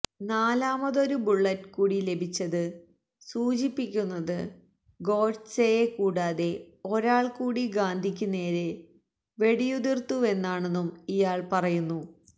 നാലാമതൊരു bullet കൂടി ലഭിച്ചത് സൂചിപ്പിക്കുന്നത് ഗോഡ്സെയെ കൂടാതെ ഒരാള് കൂടി ഗാന്ധിക്ക് നേരെ വെടിയുതിര്ത്തുവെന്നാണെന്നും ഇയാള് പറയുന്നു